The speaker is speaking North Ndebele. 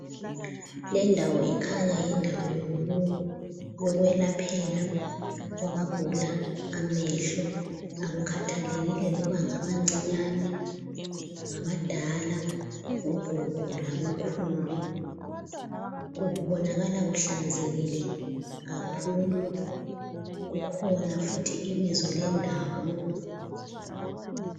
Lendawo ikhanya yindawo yokwelaphela abagula amehlo, akukhathelekile loba ngabancinyane, abadala, ogogo labokhulu. Kubonakala kuhlanzekile kakhulu kukhona futhi ibizo lendawo.